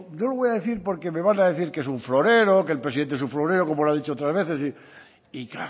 no lo voy a decir porque me van a decir que es un florero que el presidente es un florero como lo ha dicho otras veces y